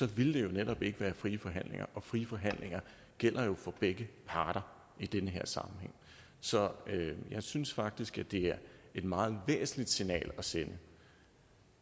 ville der jo netop ikke være tale om frie forhandlinger og frie forhandlinger gælder jo for begge parter i den her sammenhæng så jeg synes faktisk at det er et meget væsentligt signal at sende